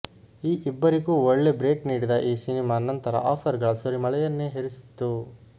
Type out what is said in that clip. ಈ ಇಬ್ಬರಿಗೂ ಒಳ್ಳೆ ಬ್ರೇಕ್ ನೀಡಿದ ಈ ಸಿನಿಮಾ ನಂತರ ಆಫರ್ ಗಳ ಸುರಿಮಳೆಯನ್ನೇ ಹರಿಸಿತ್ತು